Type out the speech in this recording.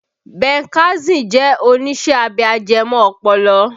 Ben Carson jẹ́ oníṣẹ́ abẹ ajẹmọ́ ọpọlọ